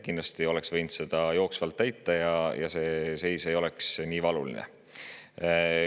Kindlasti oleks võinud seda jooksvalt täita ja siis see seis ei oleks nii valuline.